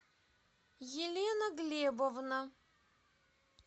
елена глебовна